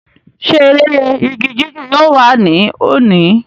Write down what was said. ṣé eré igi jíjù yóò wà ní òní?